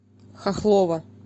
хохлова